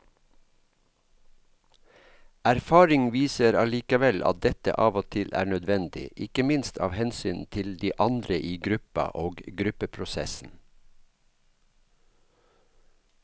Erfaring viser allikevel at dette av og til er nødvendig, ikke minst av hensyn til de andre i gruppa og gruppeprosessen.